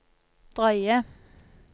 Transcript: drøye